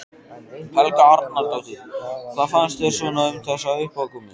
Helga Arnardóttir: Hvað fannst þér svona um þessa uppákomu?